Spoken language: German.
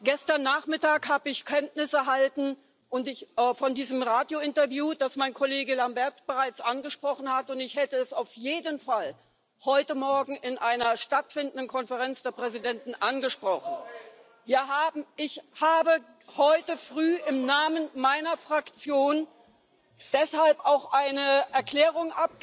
Gestern Nachmittag habe ich Kenntnis von diesem Radiointerview erhalten, das mein Kollege Lamberts bereits angesprochen hat, und ich hätte es auf jeden Fall heute Morgen in einer stattfindenden Konferenz der Präsidenten angesprochen. Ich habe heute früh im Namen meiner Fraktion deshalb auch eine Erklärung